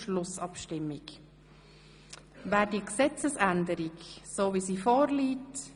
Schlussabstimmung (1. und einziger Lesung)